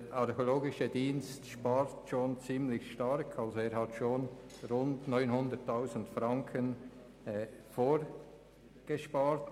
Der Archäologische Dienst spart schon sehr stark, er hat bereits rund 900 000 Franken vorgespart.